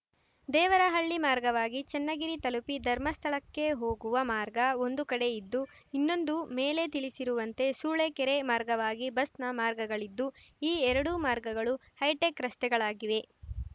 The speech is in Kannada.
ದೇವರಹಳ್ಳಿ ಮಾರ್ಗವಾಗಿ ಚನ್ನಗಿರಿ ತಲುಪಿ ಧರ್ಮಸ್ಥಳಕ್ಕೆ ಹೋಗುವ ಮಾರ್ಗ ಒಂದು ಕಡೆ ಇದ್ದು ಇನ್ನೊಂದು ಮೇಲೆ ತಿಳಿಸಿರುವಂತೆ ಸೂಳೆಕೆರೆ ಮಾರ್ಗವಾಗಿ ಬಸ್‌ನ ಮಾರ್ಗಗಳಿದ್ದು ಈ ಎರಡು ಮಾರ್ಗಗಳು ಹೈಟೆಕ್‌ ರಸ್ತೆಗಳಾಗಿವೆ